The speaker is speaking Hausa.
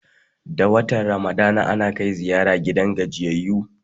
Da watan ramadana, ana kai ziyara gidan gajiyayyu